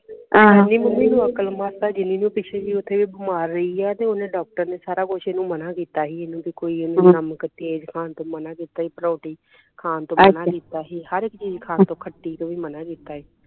ਇਹਨੀਂ ਮੰਮੀ ਇਹਨੂੰ ਅਕਲ ਮੱਤ ਆ ਜਿੰਨੀ ਇਹਨੂੰ ਓਥੇ ਮਾਰ ਰਹੀ ਹੈ ਤੇ ਡਾਕਟਰ ਨੇ ਇਹਨੂੰ ਸਾਰਾ ਕੁਸ਼ ਮਨਾ ਕੀਤਾ ਸੀ ਇਹਨੂੰ ਵੀ ਕੋਈ ਇਹਨੂੰ ਨਮਕ ਤੇਜ ਖਾਣ ਤੋਂ ਮਨਾ ਕੀਤਾ ਸੀ ਪਰੌਂਠੀ ਖਾਣ ਤੋਂ ਮਨਾ ਕੀਤਾ ਸੀ ਹਰੇਕ ਚੀਜ ਖਾਣ ਤੋਂ ਖੱਟੀ ਤੋਂ ਵੀ ਮਨਾ ਕੀਤਾ ਸੀ